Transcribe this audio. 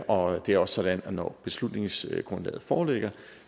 og det er også sådan at når beslutningsgrundlaget foreligger